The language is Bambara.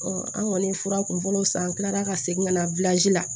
an kɔni ye fura kunfɔlɔw san an kilala ka segin ka na la